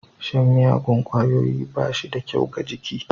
Shan miyagun ƙwayoyi bashida kyau ga jiki.